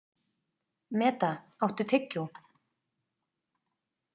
Meda, áttu tyggjó?